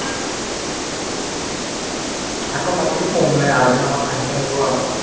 আকৌ মাটিতে শুম নে, আবেলি সময়ত আহিলে আহিব আৰু ন